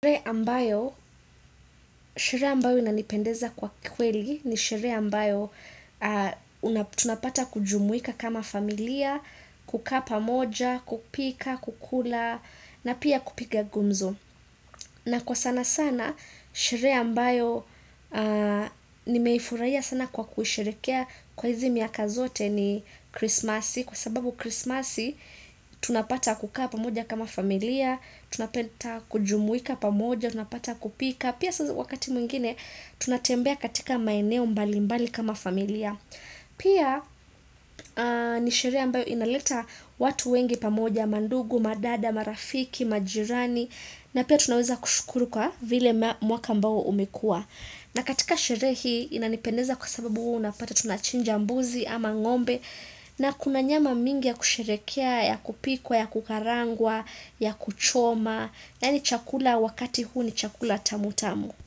Sheree ambayo, sheree ambayo inanipendeza kwa kweli ni sheree ambayo tunapata kujumuika kama familia, kukaa pamoja, kupika, kukula, na pia kupiga gumzo. Na kwa sana sana, sheree mbayo nimeifuraya sana kwa kusherekea kwa hizi miaka zote ni krismasi. Kwa sababu krismasi, tunapata kukaa pamoja kama familia, tunapata kujumuika pamoja, tunapata kupika. Pia wakati mwingine, tunatembea katika maeneo mbali mbali kama familia. Pia, ni sheree mbayo inaleta watu wengi pamoja, mandugu, madada, marafiki, majirani. Na pia tunaweza kushukuru kwa vile mwaka ambao umekuwa na katika sheree hii inanipendeza kwa sababu unapata tunachinja mbuzi ama ngombe na kuna nyama mingi ya kusherekea, ya kupikwa, ya kukarangwa, ya kuchoma yani chakula wakati huu ni chakula tamu tamu.